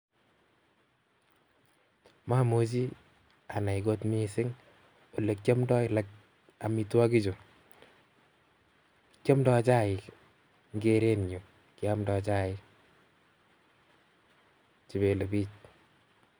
Mamujii anai kot mising olekyomdoo omitwokichuu kyomdo chaik i chebelebiik